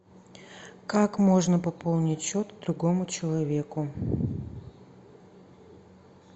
как можно пополнить счет другому человеку